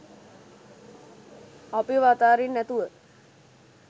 අපිව අතාරින්නැතුව